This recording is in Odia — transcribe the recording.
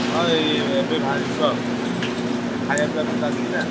ହଁ ଏଇ ଏବେ ବାହାରିଯିବ ଆଉ। ଏବେ ଖାୟା ପିୟା ସବୁ ଚାଲିଛି ନା।